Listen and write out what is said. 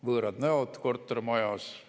Võõrad näod kortermajas.